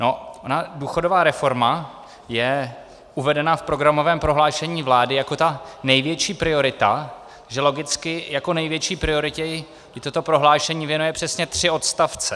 Ona důchodová reforma je uvedena v programovém prohlášení vlády jako ta největší priorita, že logicky jako největší prioritě jí toto prohlášení věnuje přesně tři odstavce.